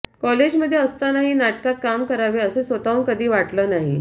कॉलेजमध्ये असतानाही नाटकात काम करावं असं स्वतःहून कधी वाटलं नाही